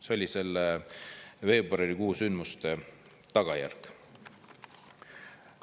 See oli selle veebruarikuu sündmuste tagajärg.